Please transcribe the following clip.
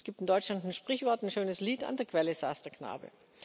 Es gibt in Deutschland ein Sprichwort, ein schönes Lied An der Quelle saß der Knabe.